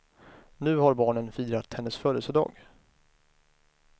Nu har barnen firat hennes födelsedag.